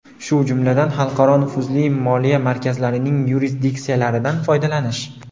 shu jumladan nufuzli xalqaro moliya markazlarining yurisdiksiyalaridan foydalanish.